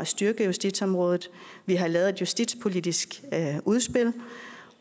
at styrke justitsområdet vi har lavet et justitspolitisk udspil